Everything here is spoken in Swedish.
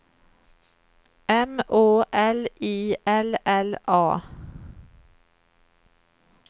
M Å L I L L A